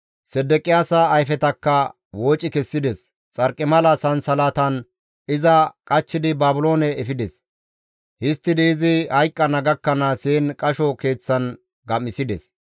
Sedeqiyaasa ayfetakka wooci kessides; xarqimala sansalatan iza qachchidi Baabiloone efides; histtidi izi hayqqana gakkanaas heen qasho keeththan gam7isides.